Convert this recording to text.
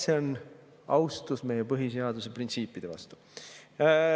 See on austus meie põhiseaduse printsiipide vastu.